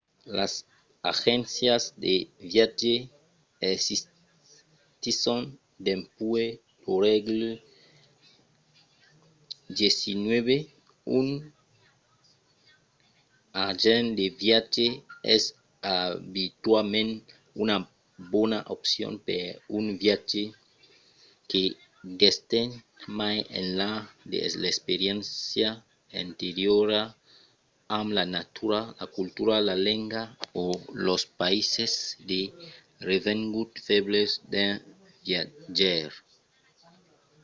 las agéncias de viatge existisson dempuèi lo sègle xix. un agent de viatge es abituament una bona opcion per un viatge que d'estend mai enlà de l’experiéncia anteriora amb la natura la cultura la lenga o los païses de revenguts febles d'un viatjaire